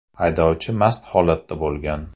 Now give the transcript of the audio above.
Haydovchi mast holatda bo‘lgan.